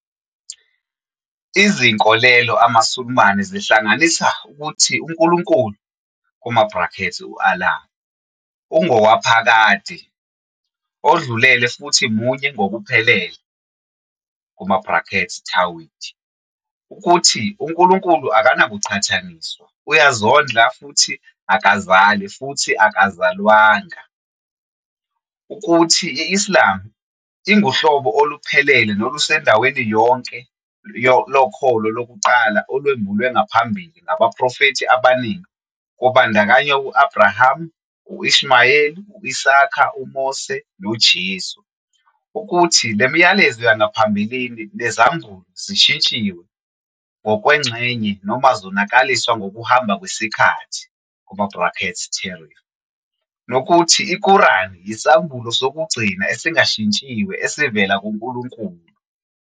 Izinkolelo amaSulumane zihlanganisa - ukuthi uNkulunkulu, "U-Allah", ungowaphakade, odlulele futhi munye ngokuphelele, "tawhid", ukuthi uNkulunkulu akanakuqhathaniswa, uyazondla futhi akazali futhi akazalwanga, ukuthi i-Islam inguhlobo oluphelele nolusendaweni yonke lokholo lokuqala olwembulwe ngaphambili ngabaprofethi abaningi kubandakanya u-Abrahama, u-Ishmayeli, u-Isaka, uMose noJesu, ukuthi le milayezo yangaphambilini nezambulo zishintshiwe ngokwengxenye noma zonakaliswa ngokuhamba kwesikhathi, "tahrif", nokuthi iKurani yisambulo sokugcina esingashintshiwe esivela kuNkulunkulu.